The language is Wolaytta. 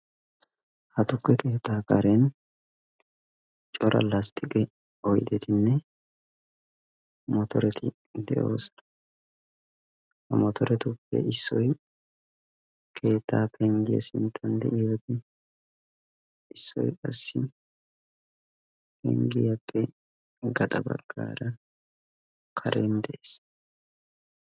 Ha tukke keettaa karen cora lastiqe oyidettinne motoreti de"oosona. Ha motoretuppe issoy keettaa pengiya sinttan de"iyoode issoy qassi pengiyaappe gaxa baggaara karen de'ees.